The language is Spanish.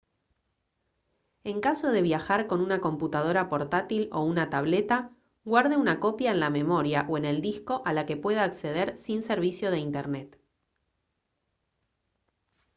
en caso de viajar con una computadora portátil o una tableta guarde una copia en la memoria o en el disco a la que pueda acceder sin servicio de internet